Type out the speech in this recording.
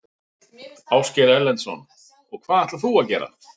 Ásgeir Erlendsson: Og hvað ætlar þú að gera?